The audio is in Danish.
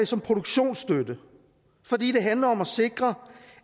som produktionsstøtte fordi det handler om at sikre